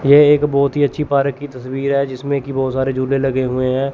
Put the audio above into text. यह एक बहोत ही अच्छी पार्क की तस्वीर है जिसमें की बहोत सारे झूले लगे हुए हैं।